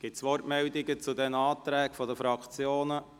Gibt es Wortmeldungen zu diesen Anträgen seitens der Fraktionen?